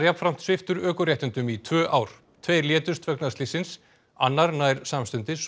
sviptur ökuréttindum í tvö ár tveir létust vegna slyssins annar nær samstundis og